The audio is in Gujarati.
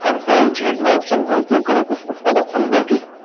ctrl z નો option ઉપયોગ કરું છું અથવા તો undo key